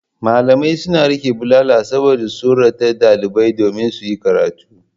Malamai suna riƙe bulala saboda tsorata ɗalibai domin su yi karatu.